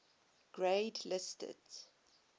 grade listed